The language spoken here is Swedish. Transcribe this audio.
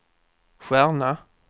stjärna